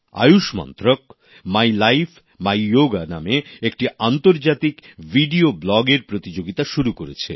আয়ুষ মন্ত্রক my life my yoga নামে এক আন্তর্জাতিক ভিডিও ব্লগে এর প্রতিযোগিতা শুরু করেছে